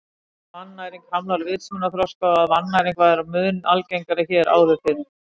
Vitað er að vannæring hamlar vitsmunaþroska og að vannæring var mun algengari hér áður fyrr.